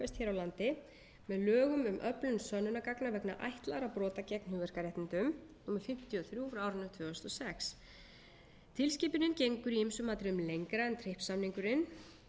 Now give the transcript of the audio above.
landi með lögum um öflun sönnunargagna vegna ætlaðra brota gegn hugverkaréttindum númer fimmtíu og þrjú tvö þúsund og sex tilskipunin gengur í ýmsum atriðum lengra en trips samningurinn